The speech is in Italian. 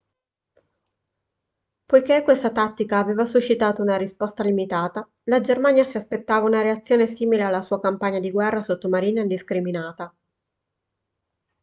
poiché questa tattica aveva suscitato una risposta limitata la germania si aspettava una reazione simile alla sua campagna di guerra sottomarina indiscriminata